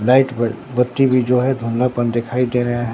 Light बत्ती भी जो है धुंधलापन दिखाई दे रहे हैं।